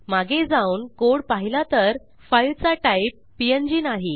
मागे जाऊन कोड पाहिला तर फाईलचा टाईप पीएनजी नाही